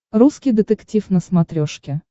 русский детектив на смотрешке